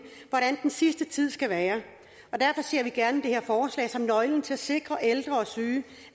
hvordan den sidste tid skal være og derfor ser vi gerne det her forslag som nøglen til at sikre at ældre og syge